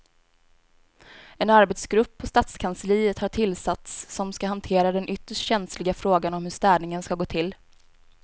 En arbetsgrupp på stadskansliet har tillsatts som ska hantera den ytterst känsliga frågan om hur städningen ska gå till.